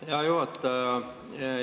Aitäh, hea juhataja!